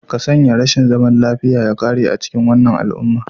Ka sanya rashin zaman lafiya ya ƙare a cikin wannan al'umma